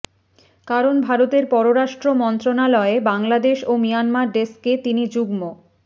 কারণ ভারতের পররাষ্ট্র মন্ত্রণালয়ে বাংলাদেশ ও মিয়ানমার ডেস্কে তিনি যুগ্ম